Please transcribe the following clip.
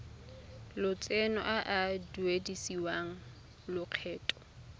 lotseno a a duedisiwang lokgetho